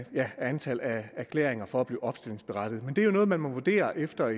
antallet af erklæringer for at blive opstillingsberettiget men det er jo noget man må vurdere efter